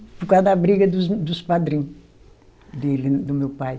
Por causa da briga dos, dos padrinho dele, do meu pai.